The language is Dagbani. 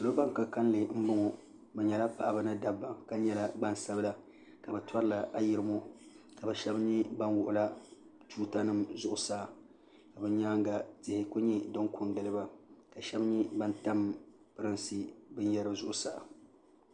Salo ban ka kalinli m-bɔŋɔ bɛ nyɛla paɣaba ni dabba ka nyɛla gbansabila ka bɛ tɔrila ayirimo ka bɛ shɛba nyɛ ban wuɣila tuutanima zuɣusaa bɛ nyaaŋa tihi n-kuli nyɛ din ko n-gili ba ka shɛba nyɛ ban tam pirinsi binyara zuɣusaa